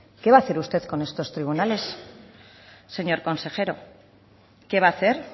qué va a hacer usted con estos tribunales señor consejero qué va a hacer